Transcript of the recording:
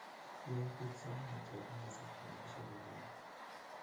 Yoe biik sai ne ter eng kasarta ne nekisherekeoni.